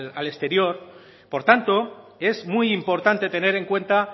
al exterior por tanto es muy importante tener en cuenta